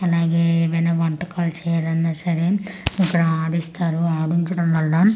అలాగే ఎవన్న వంటకాలు చేయాలన్న సరే ఇక్కడ అడిస్తారు ఆడించడం వల్ల లంచ్ బ్రే--